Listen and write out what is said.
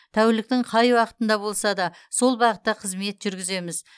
тәуліктің қай уақытында болса да сол бағытта қызмет жүргіземіз